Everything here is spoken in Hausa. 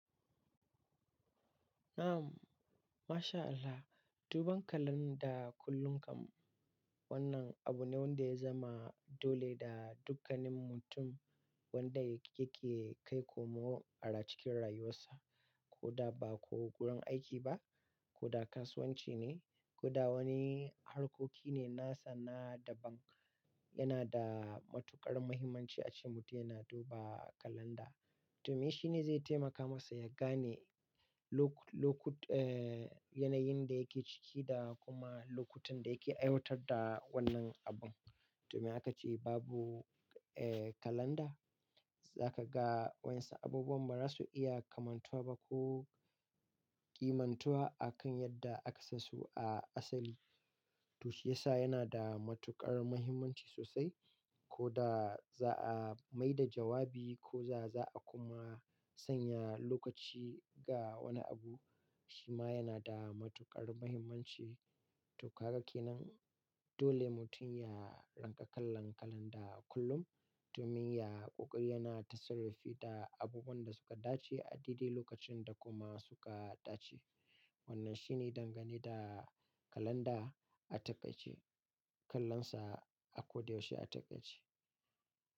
Na'am, mashallah. Duban kalanda kullum kam wannan abu ne wanda ya zama dole ga dukkanin mutum wanda yake kai komo, a cikin rayuwarsa. Ko da ba ko gurin aiki ba, ko da kasuwanci ne ko da wani harkoki ne na sana'a da bank. Yana da matuƙar muhimmanci ace mutum yana duba kalanda, domin shi ne zai taimaka masa ya gane lokut-- yanayin da yake ciki da kuma lokutan da yake aiwatar da wannan abun. Domin haka ce babu, eh, kalanda, za ka ga wasu abubuwan ba za su iya kamantuwa ba ko kimantuwa akan yadda aka sansu a asali. To shiyasa yana da matuƙar muhimmanci sosai ko da za'a mai da jawabi ko za'a kuma sanya lokaci ga wani abu, shi ma yana da matuƙar muhimmanci. To ka ga kenan dole mutum ya rinka kallan kalanda kullum domin ya ƙoƙari yana ta sarrafi da abubuwan da suka dace a daidai lokacin da kuma suka dace. Wannan shi ne dangane da kalanda a taƙaice, kallonsa a koyaushe a taƙaice.